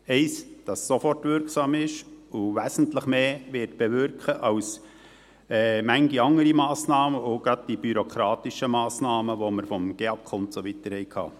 Eines, das sofort wirksam ist und wesentlich mehr bewirken wird als manch andere Massnahme und gerade die bürokratischen Massnahmen, die wir vom GEAK und so weiter haben.